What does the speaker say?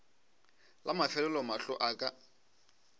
la mafelelo mahlo a ka